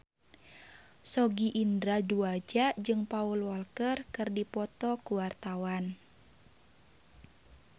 Sogi Indra Duaja jeung Paul Walker keur dipoto ku wartawan